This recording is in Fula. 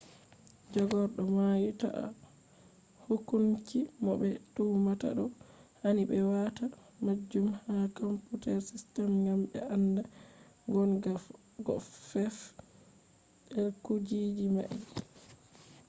jagordo mai ta`i hukunci mo be tumata do. hani be wata majun ha computer system gam be anda gon ga ko fef`i kujiji mai